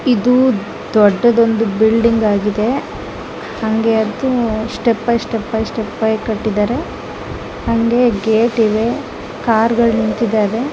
'' ಇದು ದೊಡ್ಡದಾದ ಬಿಲ್ಡಿಂಗ್ ಆಗಿದೆ ಹಂಗೆ ಅದು ಸ್ಟೆಪ್ ಅಯ್ ಸ್ಟೆಪ್ ಅಯ್ ಸ್ಟೆಪ್ ಅಯ್ ಕಟ್ಟಿದಾರೆ ಹಂಗೆ ಗೇಟ್ ಇವೆ ಕಾರಗಲ್ ನಿಂತಿದವೇ .''